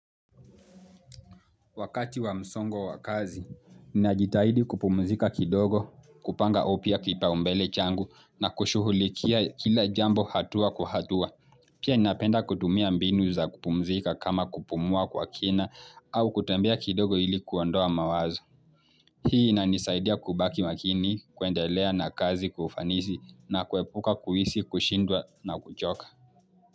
Wakati wa msongo wa kazi, ninajitahidi kupumzika kidogo, kupanga upya kipau mbele changu na kushughulikia kila jambo hatua kwa hatua. Pia ninapenda kutumia mbinu za kupumzika kama kupumua kwa kina au kutembea kidogo ili kuondoa mawazo. Hii inanisaidia kubaki makini, kuendelea na kazi kwa ufanisi na kuepuka kuhisi, kushindwa na kuchoka.